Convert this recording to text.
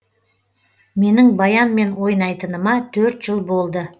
менің баянмен ойнайтыныма төрт жыл болды